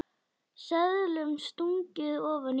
Seðlum stungið ofan í buddu.